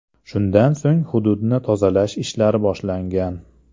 Shundan so‘ng hududni tozalash ishlari boshlangan.